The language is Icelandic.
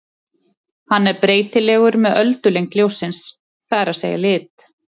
Hann er breytilegur með öldulengd ljóssins, það er að segja lit.